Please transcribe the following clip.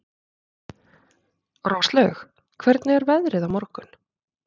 Róslaug, hvernig er veðrið á morgun?